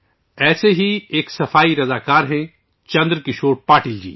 ایک ایسے ہی سووچھ گرہی ہیں چندرکشور پاٹل جی